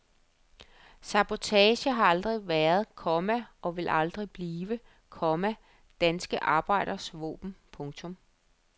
Sabotage har aldrig været, komma og vil aldrig blive, komma danske arbejderes våben. punktum